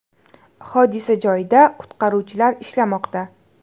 Hodisa joyida qutqaruvchilar ishlamoqda.